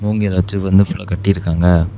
மூங்கில வச்சு வந்து ஃபுல்லா கட்டியிருக்காங்க.